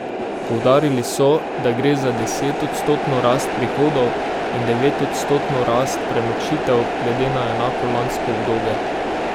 Poudarili so, da gre za desetodstotno rast prihodov in devetodstotno rast prenočitev glede na enako lansko obdobje.